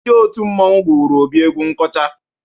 Ndị òtù mmọnwụ gụụrụ Obi egwu nkọcha.